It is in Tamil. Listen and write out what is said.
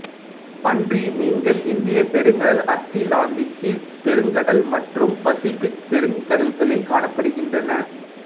பன்றி மீன்கள் இந்தியப் பெருங்கடல் அத்திலாந்திக்குப் பெருங்கடல் மற்றும் பசிபிக் பெருங்கடல்களில் காணப்படுகின்றன